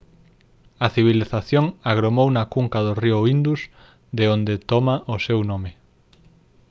a civilización agromou na cunca do río indus de onde toma o seu nome